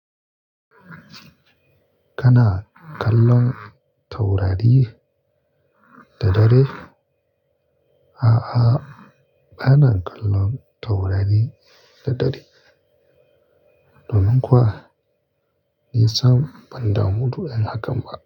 Kana kallon taurari da dare? A'a, bana kallon taurari da dare. Domin kuwa, nisan ban da muda yin hakan ba.